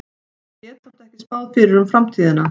Ég get samt ekki spáð fyrir um framtíðina.